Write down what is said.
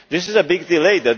This is a big delay